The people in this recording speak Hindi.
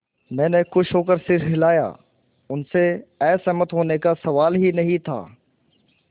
मैंने खुश होकर सिर हिलाया उनसे असहमत होने का सवाल ही नहीं था